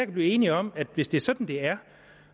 blive enige om at hvis det er sådan det er